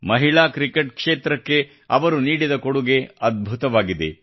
ಮಹಿಳಾ ಕ್ರಿಕೆಟ್ ಕ್ಷೇತ್ರಕ್ಕೆ ಅವರು ನೀಡಿದ ಕೊಡುಗೆ ಅದ್ಭುತವಾಗಿದೆ